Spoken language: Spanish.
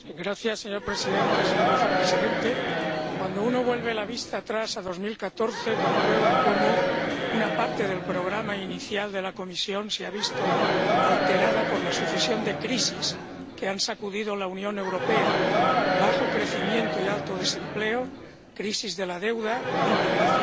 Señor presidente, señor vicepresidente, cuando uno vuelve la vista atrás a 2014, comprueba cómo una parte del programa inicial de la Comisión se ha visto alterada por la sucesión de crisis que han sacudido a la Unión Europea bajo crecimiento y alto desempleo, crisis de la deuda, inmigración